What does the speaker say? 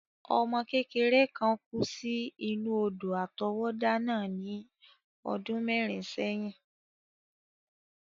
Ọmọ kékeré kán kú sí inú odò àtọwọ́dá náà ní ọdún mẹ́rin sẹ́yìn.